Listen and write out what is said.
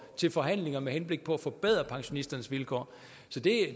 til forhandlinger med henblik på at forbedre pensionisternes vilkår så det